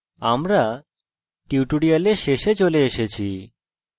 আমরা tutorial শেষে চলে এসেছি